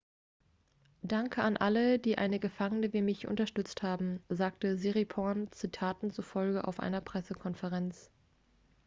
danke an alle die eine gefangene wie mich unterstützt haben sagte siriporn zitaten zufolge auf einer pressekonferenz